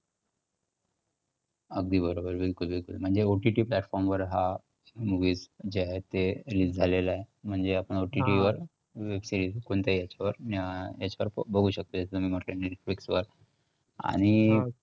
अगदी बरोबर. बिलकुल बिलकुल. म्हणजे OOT platform वर हा movie जे आहे ते release झालेलं आहे म्हणजे आपण OOT वर web series कोणत्याही बघू शकते असं मी netflix वर, आणि